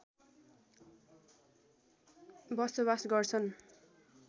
बसोवास गर्छन्